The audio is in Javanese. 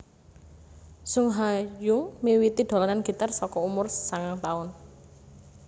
Sung Ha Jung miwiti dolanan gitar saka umur sangang taun